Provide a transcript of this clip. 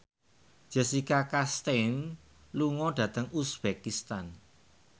Jessica Chastain lunga dhateng uzbekistan